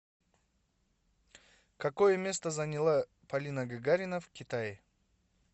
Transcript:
какое место заняла полина гагарина в китае